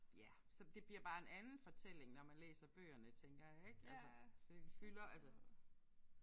Ja så det bliver bare en anden fortælling når man læser bøgerne tænker jeg ik altså fylder altså